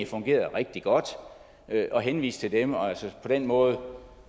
fungeret rigtig godt og henvise til dem og på den måde